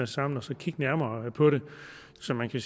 sammen og kigge nærmere på det så man kan